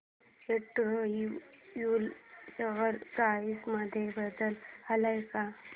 Andrew Yule share price मध्ये बदल आलाय का